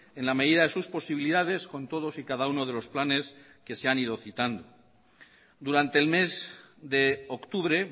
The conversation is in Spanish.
en la medida de sus posibilidades con todos y cada uno de los planes que se han ido citando durante el mes de octubre